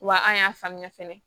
Wa an y'a faamuya fɛnɛ